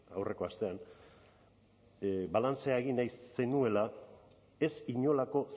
aurreko astean balantzea egin nahi zenuela ez inolako